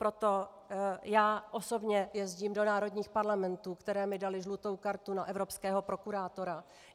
Proto já osobně jezdím do národních parlamentů, které mi daly žlutou kartu na evropského prokurátora.